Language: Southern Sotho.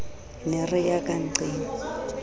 ne re ya ka nnqeng